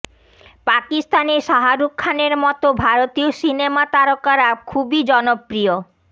পাকিস্তানে শাহরুখ খানের মতো ভারতীয় সিনেমা তারকারা খুবই জনপ্রিয়